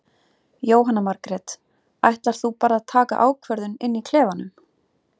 Jóhanna Margrét: Ætlar þú bara að taka ákvörðun inn í klefanum?